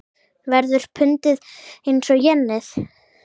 Verður pundið eins og jenið?